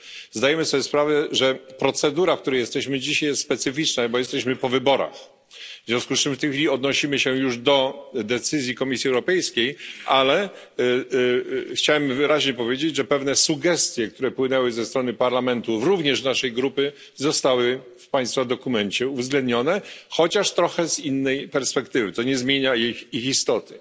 zdajemy sobie sprawę, że procedura, którą dzisiaj prowadzimy, jest specyficzna, gdyż jesteśmy po wyborach. W związku z tym w chwili obecnej odnosimy się już do decyzji Komisji Europejskiej, chciałem jednak wyraźnie powiedzieć, że pewne sugestie, które płynęły ze strony Parlamentu, również naszej grupy, zostały w Państwa dokumencie uwzględnione, chociaż trochę z innej perspektywy, co nie zmienia ich istoty.